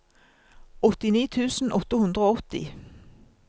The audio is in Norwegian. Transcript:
åttini tusen åtte hundre og åtti